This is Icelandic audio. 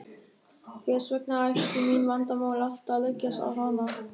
Hvers vegna ættu mín vandamál alltaf að leggjast á hana.